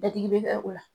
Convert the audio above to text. Dadigi bɛ kɛ o la